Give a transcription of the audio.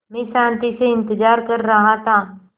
मैं शान्ति से इंतज़ार कर रहा था